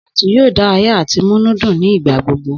Sípọ̀tù yóò dárayà àti múnú dùn ní ìgbàgbogbo